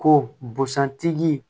Ko busan tigi